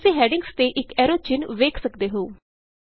ਤੁਸੀਂ ਹੈਡਿੰਗਸ ਤੇ ਇਕ ਐਰੋ ਚਿੰਨ੍ਹ ਵੇਖ ਸਕਦੇ ਹੋ